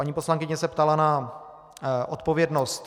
Paní poslankyně se ptala na odpovědnost.